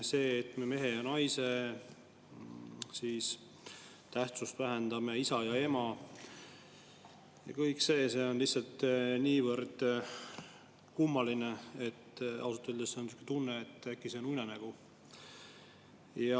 See, et me vähendame mehe ja naise, isa ja ema tähtsust – kõik see on lihtsalt niivõrd kummaline, et ausalt öeldes on sihuke tunne, et äkki see on unenägu.